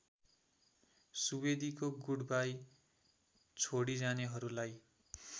सुवेदीको goodbye छोडिजानेहरूलाई